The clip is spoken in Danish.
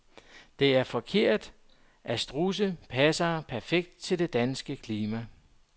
Det er forkert, at strudse passer perfekt til det danske klima.